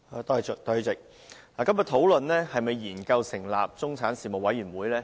代理主席，今天討論是否研究成立中產事務委員會。